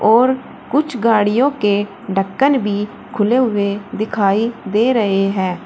और कुछ गाड़ियों के ढक्कन भी खुले हुए दिखाई दे रहे हैं।